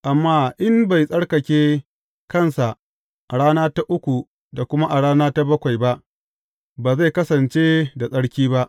Amma in bai tsarkake kansa a rana ta uku da kuma a rana ta bakwai ba, ba zai kasance da tsarki ba.